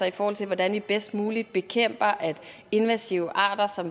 i forhold til at bekæmpe invasive arter